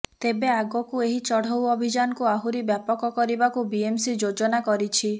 ତେବେ ଆଗକୁ ଏହି ଚଢଉ ଅଭିଯାନକୁ ଆହୁରି ବ୍ୟାପକ କରିବାକୁ ବିଏମ୍ସି ଯୋଜନା କରିଛି